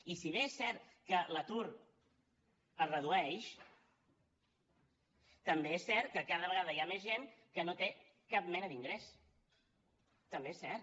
i si bé és cert que l’atur es redueix també és cert que cada vegada hi ha més gent que no té cap mena d’ingrés també és cert